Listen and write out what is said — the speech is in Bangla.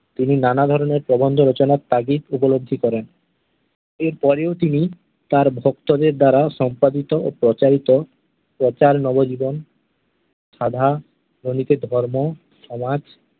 তিনি নানাধরণের প্রবন্ধ রচনার তাগিদ উপলব্ধি করেন। এর পরেও তিনি তাঁর ভক্তদের দ্বারা সম্পাদিত ও প্রচারিত প্রচার নবজীবন, সভা, ধর্ম, সমাজ